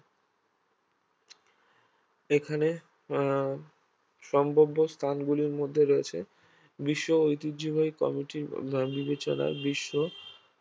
এখানে আহ সম্ভাব্য স্থানগুলির মধ্যে রয়েছে বিশ্ব ঐতিহ্যবাহী কমিটির আহ বিবেচনার বিশ্ব